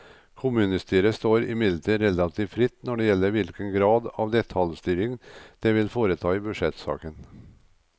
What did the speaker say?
Kommunestyret står imidlertid relativt fritt når det gjelder hvilken grad av detaljstyring det vil foreta i budsjettsaken.